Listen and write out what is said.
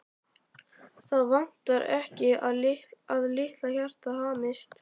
Það vantar ekki að litla hjartað hamist.